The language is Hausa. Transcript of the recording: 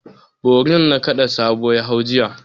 Borin nakada Sabo ya hau jiya.